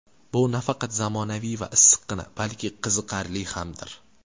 Bu nafaqat zamonaviy va issiqqina, balki qiziqarli hamdir.